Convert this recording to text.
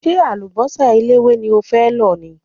Ṣé àlùbọ́sà eléwé ni o fẹ́ lò ni?